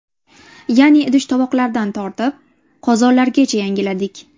Ya’ni idish-tovoqlardan tortib, qozonlargacha yangiladik.